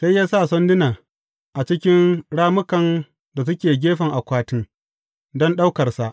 Sai ya sa sandunan a cikin rammukan da suke gefen Akwatin don ɗaukarsa.